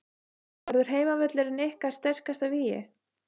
Verður heimavöllurinn ykkar sterkasta vígi?